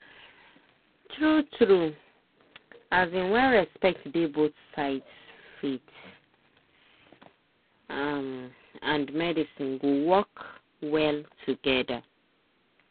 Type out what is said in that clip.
true true um when respect dey both sides faith um and medicine go work well together.